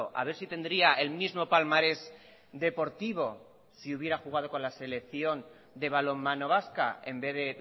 a ver si tendría el mismo palmarés deportivo si hubiera jugado con la selección de balonmano vasca en vez de